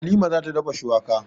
Halima za ta dafa shuwaka.